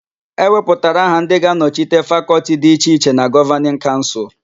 E wepụtara aha ndị ga-anọchite Fakọltị dị iche iche na Gọvanịn Kaụnsụl.